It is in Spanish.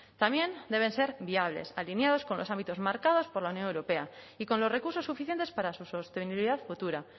también deben ser viables alineados con los ámbitos marcados por la unión europea y con los recursos suficientes para su sostenibilidad futura